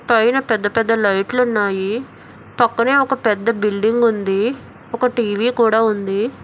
పైన పెద్ద పెద్ద లైట్లున్నాయి పక్కనే ఒక పెద్ద బిల్డింగ్ ఉంది ఒక టి_వి కూడా ఉంది.